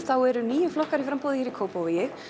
þá eru níu flokkar í framboði í Kópavogi